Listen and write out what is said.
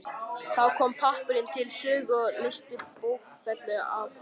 Þá kom pappírinn til sögu og leysti bókfellið af hólmi.